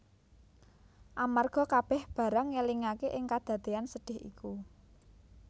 Amarga kabèh barang ngelingaké ing kadadéyan sedhih iku